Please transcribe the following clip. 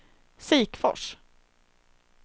Sikfors